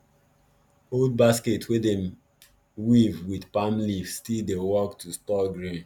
old basket wey dem wey dem weave with palm leaf still dey work to store grain